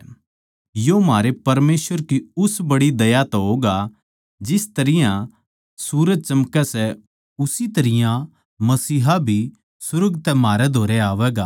यो म्हारे परमेसवर की उस बड़ी दया तै होगा जिस तरियां सूरज चमकै सै उसी तरियां मसीहा भी सुर्ग तै म्हारे धोरै आवैगा